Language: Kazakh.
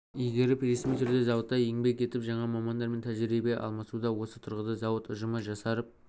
игеріп ресми түрде зауытта еңбек етіп жаңа мамандармен тәжірибе алмасуда осы тұрғыда зауыт ұжымы жасарып